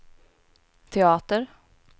teater